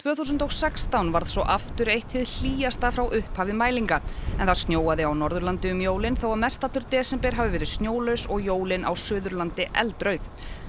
þúsund og sextán varð svo aftur eitt hið hlýjasta frá upphafi mælinga en það snjóaði á Norðurlandi um jólin þó að mestallur desember hafi verið snjólaus og jólin á Suðurlandi eldrauð